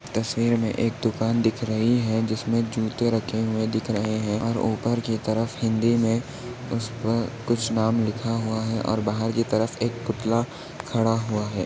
तस्वीर मे एक दुकान दिख रही है जिसमे जूते रखे हुए दिखाई रहे है और ऊपर की तरफ हिंदी मे उसपर कुछ नाम लिखा हुआ है और बाहर की तरफ एक पुतला खड़ा हुआ है।